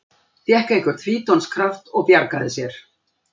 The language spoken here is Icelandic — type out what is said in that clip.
Fékk einhvern fítonskraft og bjargaði sér